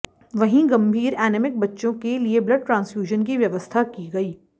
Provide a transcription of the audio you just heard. वहीं गंभीर एनीमिक बच्चों के लिए ब्लड ट्रांसफ्यूजन की व्यवस्था की गई